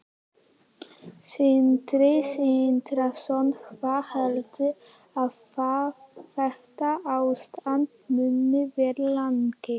Sindri Sindrason: Hvað heldurðu að þetta ástand muni vara lengi?